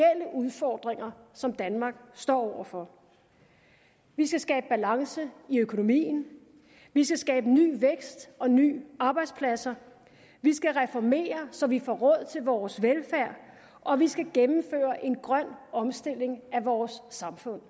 udfordringer som danmark står over for vi skal skabe balance i økonomien vi skal skabe ny vækst og nye arbejdspladser vi skal reformere så vi får råd til vores velfærd og vi skal gennemføre en grøn omstilling af vores samfund